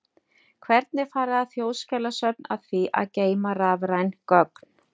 Hvernig fara þjóðskjalasöfn að því að geyma rafræn gögn?